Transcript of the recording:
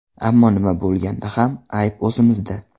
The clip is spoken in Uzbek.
Ammo nima bo‘lganda ham ayb o‘zimizda.